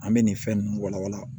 An bɛ nin fɛn ninnu walawala